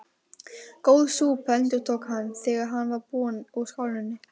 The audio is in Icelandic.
Góð súpa endurtók hann, þegar hann var búinn úr skálinni.